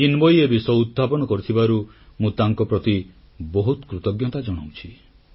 ଚିନ୍ମୟୀ ଏ ବିଷୟ ଉତ୍ଥାପନ କରିଥିବାରୁ ମୁଁ ତାଙ୍କ ପ୍ରତି ବହୁତ କୃତଜ୍ଞତା ଜଣାଉଛି